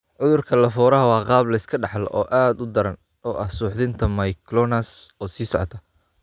Cudurka Lafora waa qaab la iska dhaxlo, oo aad u daran oo ah suuxdinta myoclonus oo sii socota.